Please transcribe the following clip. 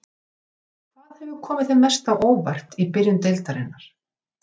Hvað hefur komið þér mest á óvart í byrjun deildarinnar?